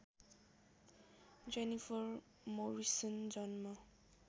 Jennifer Morrison जन्म